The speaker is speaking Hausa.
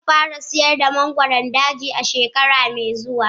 Zan fara sayar da mangoron daji a shekara mai zuwa.